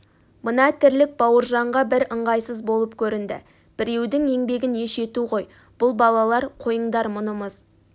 мына тірлік бауыржанға бір ыңғайсыз болып көрінді біреудің еңбегін еш ету ғой бұл балалар қойыңдар мұнымыз